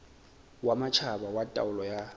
wa matjhaba wa taolo ya